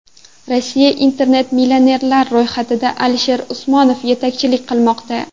Rossiyalik internet-millionerlar ro‘yxatida Alisher Usmonov yetakchilik qilmoqda.